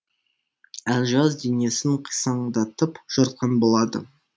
әлжуаз денесін қисаңдатып жортқан болады